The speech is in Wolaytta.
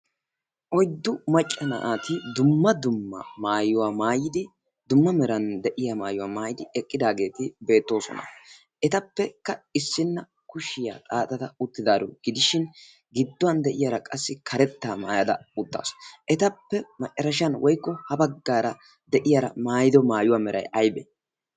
Oyiddu macca naati dumma dumma maayuwa maayidi dumma meran de'iya maayuwa maayidi eqqidaageeti beettoosona. Etappekka issinna kushiyaa xaaxada uttidaaro gidishin gidduwan de'iyaara qassi karettaa mayada uttaasu. Etappe macarashan woyikko ha baggaara de'iyaara mayido mayuwa Meray ayibee?